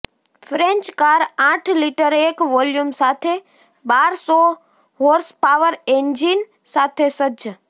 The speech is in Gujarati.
ફ્રેન્ચ કાર આઠ લિટર એક વોલ્યુમ સાથે બાર સો હોર્સપાવર એન્જિન સાથે સજ્જ